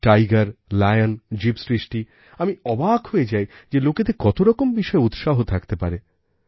Tiger lion জীবসৃষ্টিআমি অবাক হয়ে যাই যে লোকেদের কত রকম বিষয়ে উৎসাহথাকতে পারে